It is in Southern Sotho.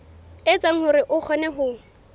etsa hore o kgone ho